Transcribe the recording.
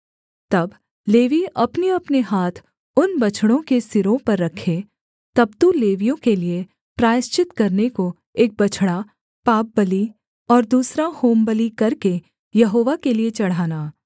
तब लेवीय अपनेअपने हाथ उन बछड़ों के सिरों पर रखें तब तू लेवियों के लिये प्रायश्चित करने को एक बछड़ा पापबलि और दूसरा होमबलि करके यहोवा के लिये चढ़ाना